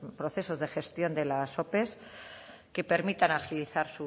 procesos de gestión de la ope que permitan agilizar